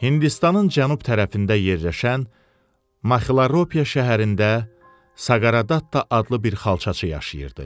Hindistanın cənub tərəfində yerləşən Macilropiya şəhərində Saqareddatta adlı bir xalçaçı yaşayırdı.